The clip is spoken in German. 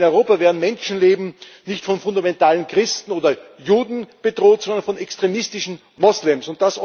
In Europa werden Menschenleben nicht von fundamentalistischen Christen oder Juden bedroht, sondern von extremistischen Moslems.